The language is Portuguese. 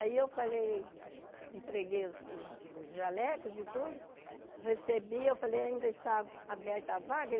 Aí eu falei, entreguei os os os jalecos e tudo, recebi, e eu falei, ainda está aberta a vaga?